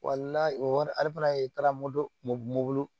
o ale fana ye taara moto m mobili